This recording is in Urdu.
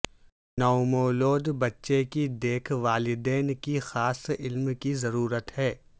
نومولود بچے کی دیکھ والدین کی خاص علم کی ضرورت ہے